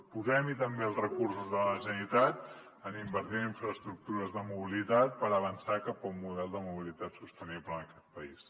posem hi també els recursos de la generalitat en invertir en infraestructures de mobilitat per avançar cap a un model de mobilitat sostenible en aquest país